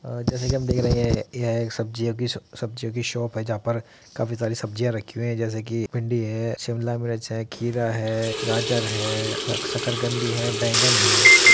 आ जैसे की हम देख रहे है यहाँ एक सब्जियों स-सब्जियों की शॉप है जहाँ पर काफी सारी सब्जियाँ रखी हुई है जैसे की भिंडी है शिमला मिर्च है खीरा है गाजर है सक्--शकरकंदी है बैगन है ।